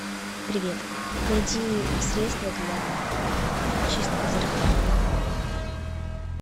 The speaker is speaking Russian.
привет найди средство для чистки зеркал